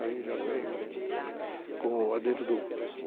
Aí já vem, com o advento do...